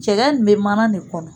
Cɛgɛ ni bɛ mana de kɔnɔ